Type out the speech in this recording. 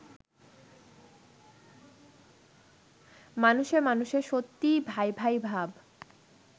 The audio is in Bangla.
মানুষে মানুষে সত্যিই ভাই-ভাই ভাব